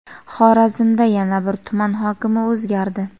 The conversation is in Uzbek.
Xorazmda yana bir tuman hokimi o‘zgardi.